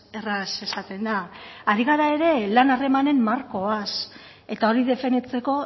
erraz esaten da ari gara ere lan harremanen markoaz eta hori definitzeko